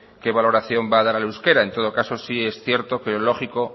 qué valoración va a dar al euskera en todo caso sí es cierto y lógico